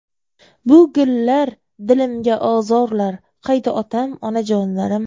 Bu gullar dilimga ozorlar, Qayda otam, onajonlarim.